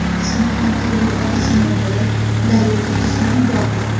Samarqandda o‘g‘il otasini o‘ldirib, daryoga tashlab yubordi.